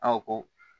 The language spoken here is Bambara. Aw ko